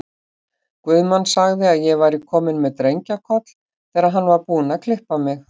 Guðmann sagði að ég væri komin með drengjakoll, þegar hann var búinn að klippa mig.